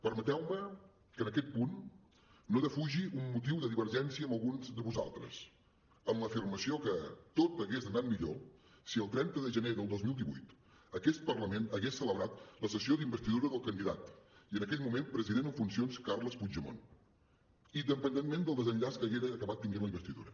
permeteu me que en aquest punt no defugi un motiu de divergència amb alguns de vosaltres en l’afirmació que tot hagués anat millor si el trenta de gener del dos mil divuit aquest parlament hagués celebrat la sessió d’investidura del candidat i en aquell moment president en funcions carles puigdemont independentment del desenllaç que haguera acabat tenint la investidura